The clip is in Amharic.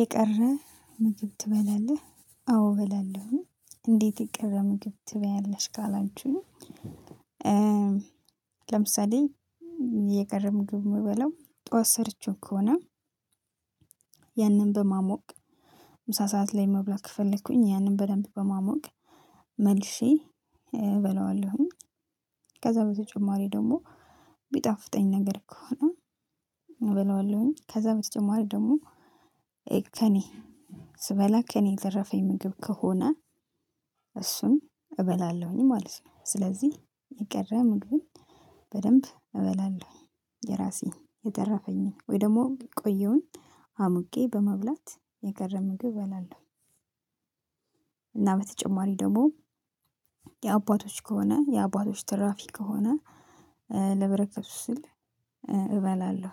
የቀራ ምግብ ትበላለህ አዎ እበላለሁኝ እንዴት የቀራ ምግብ ትበያለሽ ካላችሁኝ? ለምሳሌ የቀረ ምግም የምበለው ጠዋት ሰርቼው ከሆነ ያንን በማሞቅ ምሳ ሰዓት ለይ መብላት ከፈለኩኝ ያንን በደምብ በማሞቅ መልሼ እበላለሁኝ ከዛ በተጨማሪ ደግሞ ቢጣፍጠኝ ነገር ከሆነ እበላዋለሁኝ ከዛ በተጨማሪ ደግሞ ከኔ ስበላ ከእኔ የተረፈኝ ምግብ ከሆነ እሱን እበላለሁኝ ማለት ነው። ስለዚህ የቀረ ምግብን በደንብ እበላለሁኝ የራሴ የተራፈኝ ወይ ደግሞ የቆየሁኝ አሙቄ በመብላት የቀረ ምግብ እባላለሁ። እና በተጨማሪ ደግሞ የአባቶች ከሆነ የአባቶች ትራፊ ከሆነ ለበረከቱ ስል እበላለሁ።